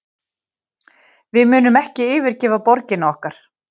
Við munum ekki yfirgefa borgirnar okkar